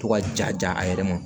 To ka jaja a yɛrɛ ma